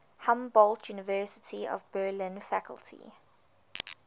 humboldt university of berlin faculty